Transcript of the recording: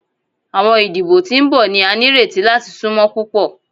Awọn idibo ti n bọ ni a nireti lati sunmọ pupọ